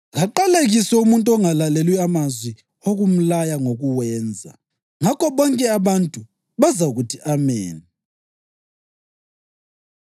‘Kaqalekiswe umuntu ongalaleli amazwi okumlaya ngokuwenza.’ Ngakho bonke abantu bazakuthi, ‘Ameni!’ ”